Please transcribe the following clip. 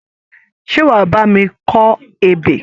Ṣé wà á bá mi kọ ebè?